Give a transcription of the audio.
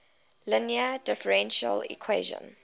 linear differential equation